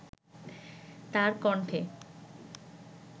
তার কণ্ঠে